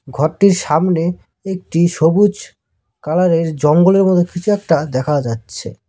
ঘরটির সামনে একটি সবুজ কালারের জঙ্গলের মত কিছু একটা দেখা যাচ্ছে।